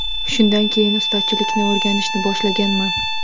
Shundan keyin ustachilikni o‘rganishni boshlaganman.